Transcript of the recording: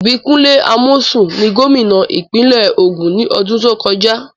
Ìbíkúnlé Amósùn ni gómìnà ìpínlẹ̀ Ògùn ní ọdún tó kọjá.